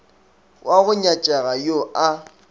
wa go nyatšega yo a